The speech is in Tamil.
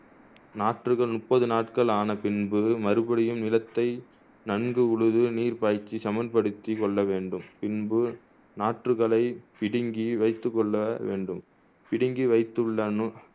நாற்றுகள் முப்பது நாள்கள் ஆன பின்பு மறுபடியும் நிலத்தை நன்கு உழுது நீர் பாய்ச்சி சமன்படுத்திக் கொள்ள வேண்டும் பின்பு நாற்றுகளை பிடுங்கி வைத்துக் கொள்ள வேண்டும் பிடுங்கி வைத்துள்ள நூ